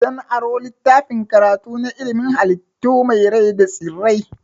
Zan aro littafin karatu na ilimin halittu masu rai da tsirrai.